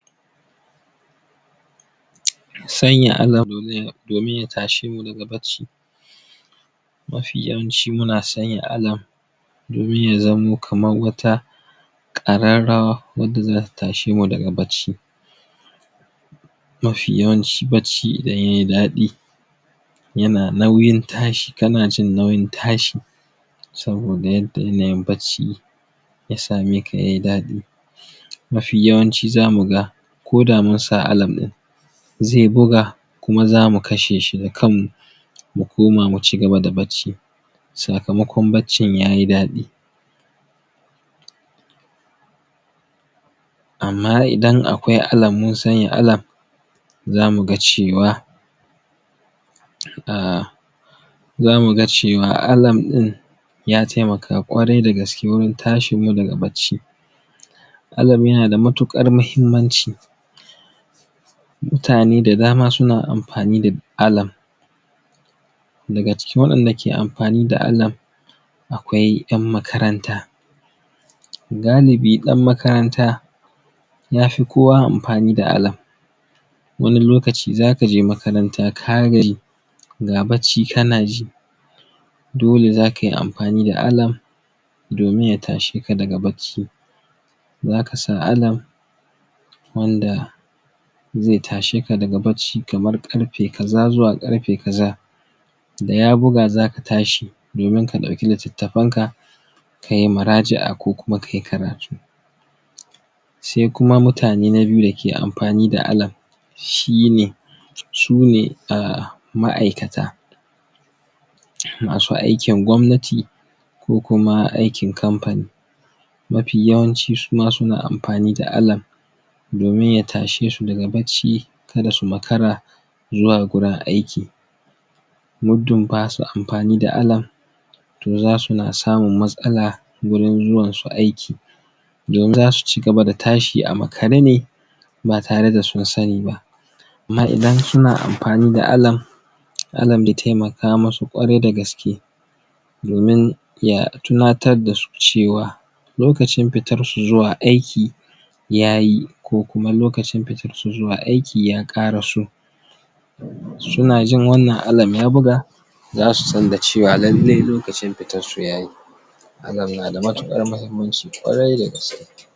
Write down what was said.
Sanya domin ya tashe mu daga bacci mafi yawanci muna sanya domin ya zamo kaman wata ƙararrawa wadda zata tashe mu daga bacci maf yawanci bacci idan yayi daɗi yana nauyin tashi kana jin nauyin tashi saboda yadda yanayin bacci ya same k a yayi daɗi mafi yawanci zamu ga koda mun sa ɗin zai buga kuma zamu kashe shi da kanmu mu koma mu cigaba da bacci sakamakon baccin yayi daɗi amma idan akwai mun sanya zamu ga cewa um zamu ga cewa ɗin ya taimaka ƙwarai da gaske wurin tashin mu daga bacci yana da matuƙar mahimmanci mutane da dama suna amfani da daga cikin waɗanda ke amfani da akwai ƴan makaranta galibi ɗan makaranta ya fi kowa amfani da wani lokaci zaka je makaranta ka gaji ga bacci kana ji dole zaka yi amfani da domin ya tashe ka daga bacci zaka sa wanda zai tashe daga bacci kamar ƙarfe kaza zuwa ƙarfe kaza da ya buga zaka tashi domin ka ɗauki litattafen ka kayi muraja'a ko kuma kayi karatu sai kuma mutane na biyu da ke amfani da shine sune um ma'aikata masu aikin gwamnati ko kuma aikin kamfani mafi yawanci su ma suna amfani da domin ya tashe su daga bacci kada su makara zuwa gurin aiki muddin basu amfani da to zasu na samun matsala wurin zuwan su aiki don zasu cigaba da tashi a makare ne ba tare da sun sani ba amma idan suna amfani da ya taimaka musu ƙwarai da gaske domin ya tunatar da su cewa lokacin pitar su zuwa aiki yayi ko kuma lokacin pitar su zuwa aiki ya ƙaraso suna jin wannan ya buga zasu san da cewa lallai lokacin pitan su yayi hakan na da matuƙar mahimmanci ƙwarai da gaske.